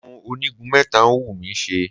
Irun onígun mẹ́ta ń wù mí ṣe.